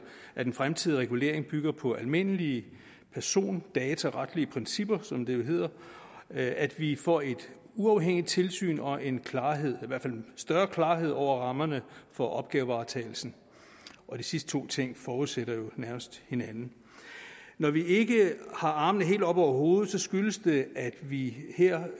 at en fremtidig regulering bygger på almindelige persondataretlige principper som det jo hedder at vi får et uafhængigt tilsyn og en klarhed i hvert fald større klarhed over rammerne for opgavevaretagelsen de sidste to ting forudsætter jo nærmest hinanden når vi ikke har armene helt oppe over hovedet skyldes det at vi her